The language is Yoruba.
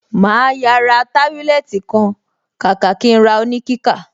Màá yà ra tábílẹ́ẹ́tì kan kàkà kí n ra oníkíkà.